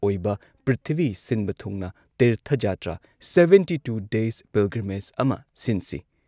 ꯑꯣꯏꯕ ꯄ꯭ꯔꯤꯊꯤꯕꯤ ꯁꯤꯟꯕ ꯊꯨꯡꯅ ꯇꯤꯔꯊ ꯖꯇ꯭ꯔꯥ ꯁꯕꯦꯟꯇꯤ ꯇꯨ ꯗꯦꯁ ꯄꯤꯜꯒ꯭ꯔꯤꯃꯦꯖ ꯑꯃ ꯁꯤꯟꯁꯤ ꯫